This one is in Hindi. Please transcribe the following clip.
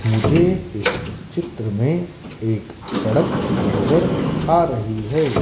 मुझे इस चित्र में एक सड़क नजर आ रही है।